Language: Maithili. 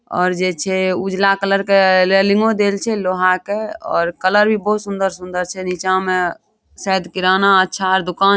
और जे छै उजाला कलर के लेलेलिंगो देल छै लोहा के और कलर भी बहुत सुंदर-सुंदर छै नीचा में शायद किराना अच्छा दुकान --